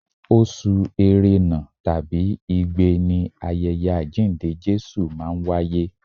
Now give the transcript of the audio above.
Oṣù erena tàbí igbe ni ayẹyẹ àjíǹde Jésù máa ń wáyé.